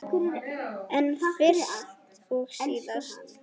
En fyrst og síðast.